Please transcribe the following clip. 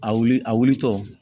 A wuli a wulitɔ